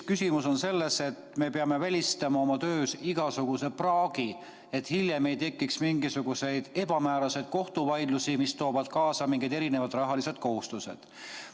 Küsimus on selles, et me peame välistama oma töös igasuguse praagi, et hiljem ei tekiks mingisuguseid ebamääraseid kohtuvaidlusi, mis toovad ehk kaasa ka rahalised kohustused.